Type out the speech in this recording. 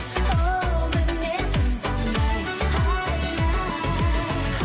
оу мінезім сондай ай ай